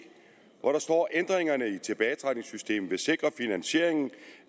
hvor der står ændringerne i tilbagetrækningssystemet vil sikre finansiering